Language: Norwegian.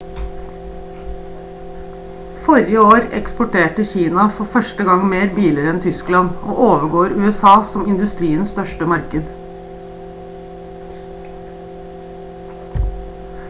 forrige år eksporterte kina for 1. gang mer biler enn tyskland og overgår usa som industriens største marked